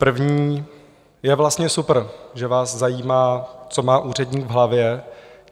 První - je vlastně super, že vás zajímá, co má úředník v hlavě.